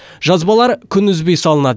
жазбалар күн үзбей салынады